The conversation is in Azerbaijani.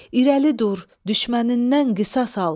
İrəli dur, düşmənindən qisas al.